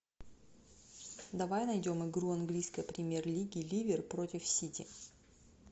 давай найдем игру английской премьер лиги ливер против сити